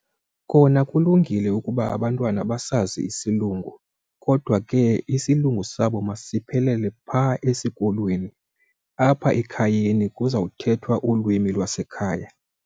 Kona kulungile ukuba abantwana basazi isilungu kodwa ke isilungu sabo masiphelele phaa esikolweni, apha ekhayeni kuza kuthethwa ulwimi lwasekhaya.